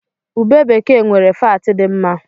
Ube bekee nwere faatị dị mma.